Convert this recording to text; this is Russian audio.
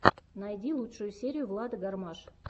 найди лучшую серию влады гармаш